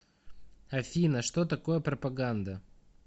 афина что такое пропаганда